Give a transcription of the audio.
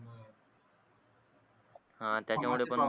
हा त्याच्यामुळे पण